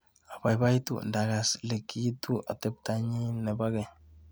Abaibaitu ndakas likiu ateptonyi nebo keny.